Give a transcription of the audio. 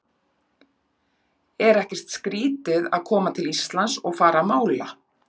En er ekkert skrítið að koma til Íslands og fara að mála?